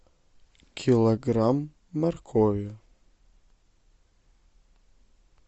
килограмм моркови